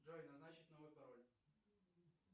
джой назначить новый пароль